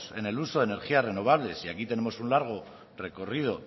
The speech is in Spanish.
en el uso de energías renovables y aquí tenemos un largo recorrido